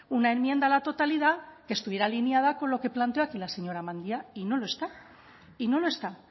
una enmienda a la totalidad que estuviera alineada con lo que planteó aquí la señora mendia y no lo está y no lo está